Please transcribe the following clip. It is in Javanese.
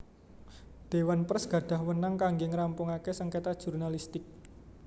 Dewan Pers gadhah weenang kangge ngrampungaken sengketa jurnalistik